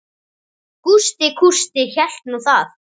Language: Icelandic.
Gústi kústi hélt nú það.